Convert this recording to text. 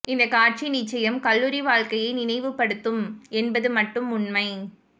இந்த காட்சி நிச்சயம் கல்லூரி வாழ்க்கையை நினைவுப்படுத்தும் என்பது மட்டும் உண்மை